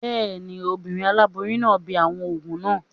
Bẹ́ẹ̀ni, obìnrin aláboyún náà ń bi àwọn òògùn náà